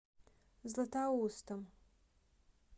златоустом